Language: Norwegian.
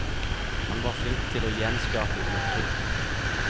Han var flink til å gjenskape uttrykk.